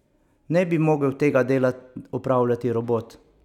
Ne bi mogel tega dela opravljati robot?